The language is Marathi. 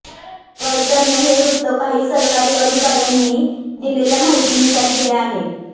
रॉयटरने हे वृत्त काही सरकारी अधिकार्यांनी दिलेल्या माहितीनुसार दिले आहे